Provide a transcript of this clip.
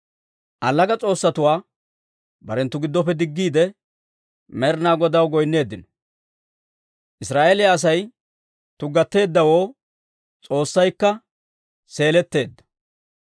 Allaga s'oossatuwaa barenttu giddoppe diggiide, Med'inaa Godaw goynneeddino. Israa'eeliyaa Asay tuggateeddawoo S'oossaykka seeletteedda.